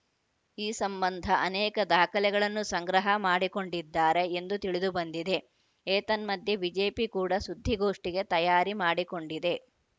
ಈ ಸಂಬಂಧ ಅನೇಕ ದಾಖಲೆಗಳನ್ನು ಸಂಗ್ರಹ ಮಾಡಿಕೊಂಡಿದ್ದಾರೆ ಎಂದು ತಿಳಿದು ಬಂದಿದೆ ಏತನ್ಮಧ್ಯೆ ಬಿಜೆಪಿ ಕೂಡ ಸುದ್ದಿಗೋಷ್ಠಿಗೆ ತಯಾರಿ ಮಾಡಿಕೊಂಡಿದೆ